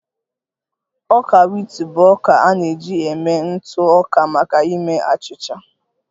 Ọka wit bụ ọka a na-eji eme ntụ ọka maka ime achịcha